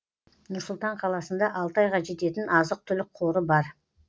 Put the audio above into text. нұр сұлтан қаласында алты айға жететін азық түлік қоры бар